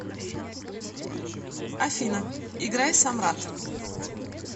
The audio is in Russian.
афина играй самрат